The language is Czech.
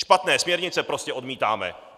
Špatné směrnice prostě odmítáme!